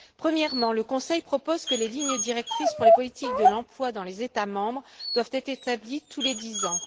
Premièrement, le Conseil propose que les lignes directrices pour les politiques de l'emploi dans les États membres soient établies tous les dix ans.